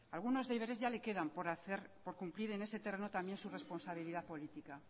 algunos deberes ya le quedan por hacer y por cumplir en ese terreno también su responsabilidad política